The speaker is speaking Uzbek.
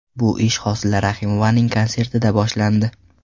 Bu ish Hosila Rahimovaning konsertidan boshlandi.